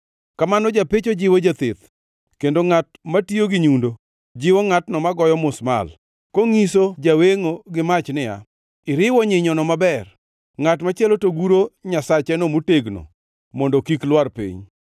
Kamano japecho jiwo jatheth, kendo ngʼat matiyo gi nyundo, jiwo ngʼatno magoyo musmal, konyiso jawengʼo gi mach niya, “Iriwo nyinyono maber.” Ngʼat machielo to guro nyasacheno motegno mondo kik lwar piny.